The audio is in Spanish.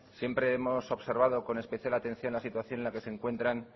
siempre hemos observado con especial atención la situación en la que se encuentran